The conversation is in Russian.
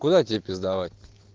куда тебе пиздовать